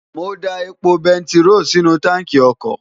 mo da epo bẹntiró sínú táǹkì ọkọ̀